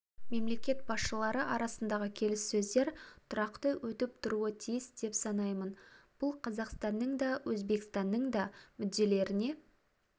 мемлекет басшылары арасындағы келіссөздер тұрақты өтіп тұруы тиіс деп санаймын бұл қазақстанның да өзбекстанның да мүдделеріне